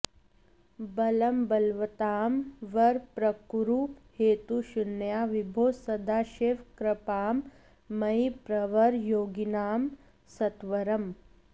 बलं बलवतां वर प्रकुरु हेतुशून्यां विभो सदाशिव कृपां मयि प्रवर योगिनां सत्वरम्